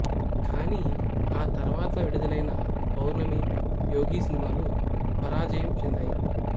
కానీ ఆ తర్వాత విడుదలైన పౌర్ణమి యోగి సినిమాలు పరాజయం చెందాయి